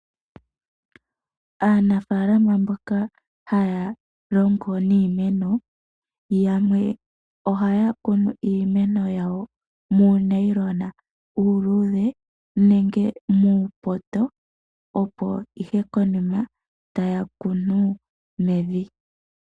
Aanafalama mboka haya longo niimeno, yamwe ohaya kunu iimeno yawo muunayilona uuluudhe, nenge muupoto, opo ihe konima taya kunu mevi.